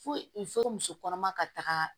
Foyi fo muso kɔnɔma ka taga